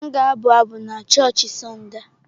M ga-abụ abụ n'choochi ụbọọchị Sọnde a.